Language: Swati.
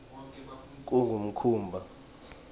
kungumkhuba